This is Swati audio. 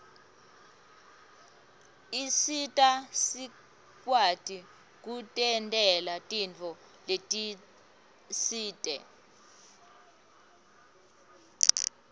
isita sikwati kutentela tintfo letisite